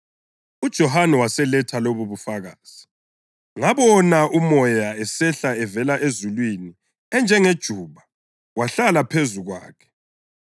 UJohane waseletha lobubufakazi: “Ngabona uMoya esehla evela ezulwini enjengejuba wahlala phezu kwakhe.